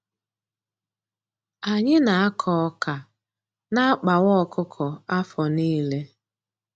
Anyị na-akọ ọkà n'akpakwa ọkụkọ afọ niile.